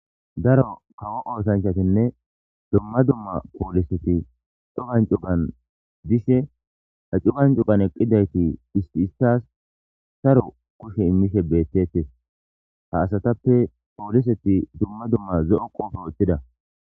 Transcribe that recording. ''Darro kawo oothanchattinne duma duma pooliseti cugan cugan dishe ha cugan cugan eqqidayti isi isas sarro kushe emishe beetetes. Ha asatappe pooliseti duma duma zo'o qoobe wothida.''